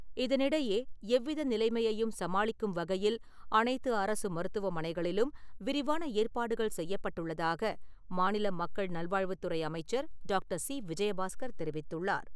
இதனிடையே, எவ்வித நிலைமையையும் சமாளிக்கும் வகையில், அனைத்து அரசு மருத்துவமனைகளிலும் விரிவான ஏற்பாடுகள் செய்யப்பட்டுள்ளதாக, மாநில மக்கள் நல்வாழ்வுத்துறை அமைச்சர் டாக்டர். சி. விஜயபாஸ்கர் தெரிவித்துள்ளார்.